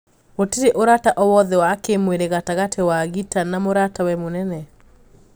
Gũtĩrĩ ũrata oo wothe wa kimwirĩ gatagatĩ wa Gita na mũratawe mũnene.